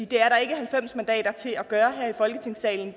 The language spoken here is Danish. det er der ikke halvfems mandater til at gøre her i folketingssalen i